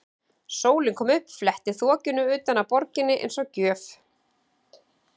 Sólin kom upp, fletti þokunni utan af borginni eins og gjöf.